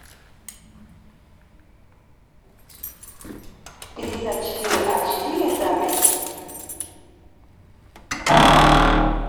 пятьдесятчетыреачетыре запись